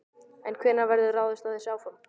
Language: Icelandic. En hvenær verður ráðist í þessi áform?